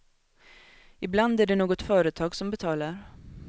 Ibland är det något företag som betalar.